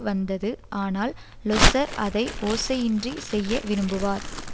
வந்தது ஆனால் லொஸ்ஸர் அதை ஓசையின்றி செய்ய விரும்புவார்